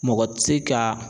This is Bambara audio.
Mɔgɔ ti se ka